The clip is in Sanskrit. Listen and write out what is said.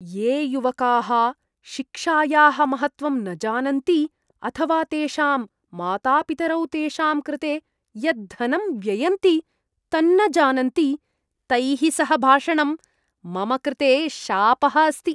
ये युवकाः शिक्षायाः महत्त्वं न जानन्ति अथवा तेषां मातापितरौ तेषां कृते यत् धनं व्ययन्ति तन्न जानन्ति, तैः सह भाषणं मम कृते शापः अस्ति।